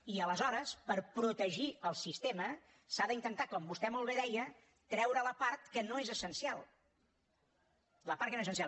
i aleshores per protegir el sistema s’ha d’intentar com vostè molt bé deia treure la part que no és essencial la part que no és essencial